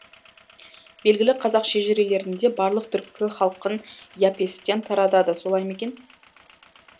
белгілі қазақ шежірелерінде барлық түркі халқын и апестен таратады солай мекен